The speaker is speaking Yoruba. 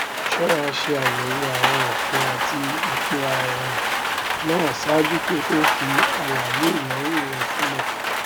ṣọra ṣe àyẹwò àwọn òfin àti ipo àwìn náà ṣáájú kí o tó fi àlàyé ìnáwó rẹ sílẹ